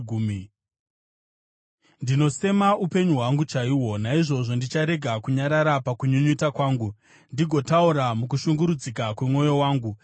“Ndinosema upenyu hwangu chaihwo, naizvozvo ndicharega kunyarara pakunyunyuta kwangu ndigotaura mukushungurudzika kwemwoyo wangu.